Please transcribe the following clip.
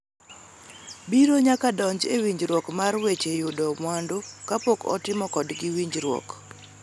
biro nyaka donjo e winjruok mar weche yudo mwandu kapok otimo kodgi winjruok.